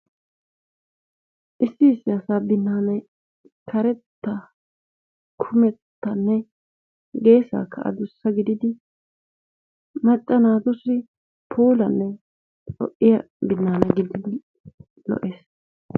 Issi issi asaa binnaanay karetta kumettanne geesaaka aduussa giididi macca naatussi puulanne lo"iyaa binaana giididi lo"ees.